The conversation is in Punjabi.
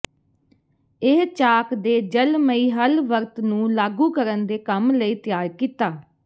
ਇਹ ਚਾਕ ਦੇ ਜਲਮਈ ਹੱਲ ਵਰਤ ਨੂੰ ਲਾਗੂ ਕਰਨ ਦੇ ਕੰਮ ਲਈ ਤਿਆਰ ਕੀਤਾ